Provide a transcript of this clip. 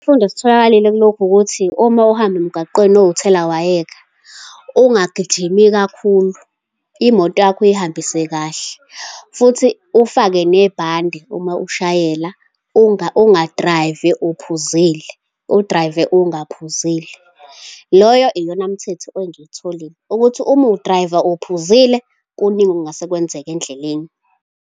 Isifundo esitholakalile kulokhu, ukuthi uma uhamba emgwaqeni owuthelawayeka, ungagijimi kakhulu. Imoto yakho uyihambise kahle, futhi ufake nebhande uma ushayela. Unga-drive-i uphuzile. U-drive-e ungaphuzile. Loyo, iyona mthetho engiyitholile, ukuthi uma u-drive-a uphuzile, kuningi okungase kwenzeka endleleni.